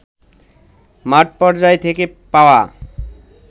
মাঠপর্যায় থেকে পাওয়া